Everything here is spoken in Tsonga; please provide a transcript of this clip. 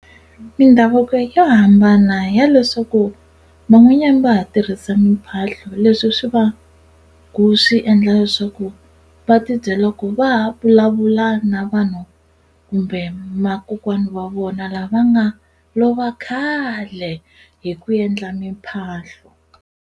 Mindhavuko yo hambana ya leswaku van'wanyani va ha tirhisa mphahlo leswi swi va ku swi endla leswaku va tibyela ku va ha vulavula na vanhu kumbe ma kokwana wa vona lava va nga lova khale hi ku endla mimphahlo.